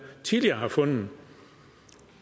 tidligere har fundet